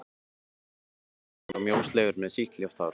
Sakamaðurinn var ungur og mjósleginn með sítt ljóst hár.